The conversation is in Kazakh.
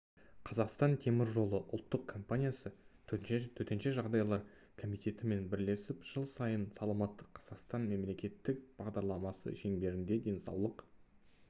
қазақстан теміржолы ұлттық компаниясы төтенше жағдайлар комитетімен бірлесіп жыл сайын саламатты қазақстан мемлекеттік бағдарламасы шеңберінде денсаулық